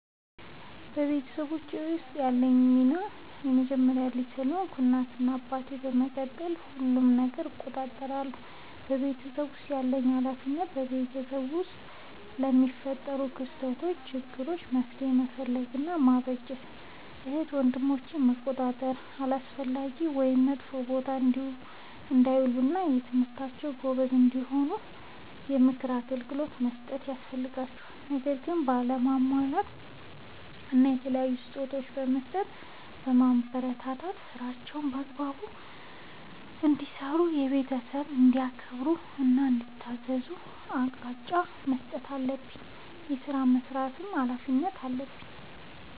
በቤተሰቦቼ ውስጥ ያለኝ ሚና የመጀመሪያ ልጅ ስለሆንኩ ከእናት እና አባቴ በመቀጠል ሁሉንም ነገር እቆጣጠራለሁ። በቤተሰቤ ውስጥ ያለብኝ ኃላፊነት በቤተሰብ ውስጥ ለሚፈጠሩ ክስተቶች ÷ችግሮች መፍትሄ መፈለግ እና ማበጀት ÷ እህት ወንድሞቼን መቆጣጠር አላስፈላጊ ወይም መጥፎ ቦታ እንዳይውሉ እና በትምህርታቸው ጎበዝ እንዲሆኑ የምክር አገልግሎት በመስጠት የሚያስፈልጋቸውን ነገር በማሟላት እና የተለያዩ ስጦታዎችን በመስጠትና በማበረታታት ÷ ስራዎችን በአግባቡ እንዲሰሩ ÷ ቤተሰብን እንዲያከብሩ እና እንዲታዘዙ አቅጣጫ መስጠት አለብኝ። ስራዎችን የመስራት ኃላፊነት አለብኝ።